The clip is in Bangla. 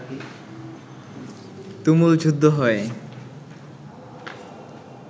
তুমুল যুদ্ধ হয়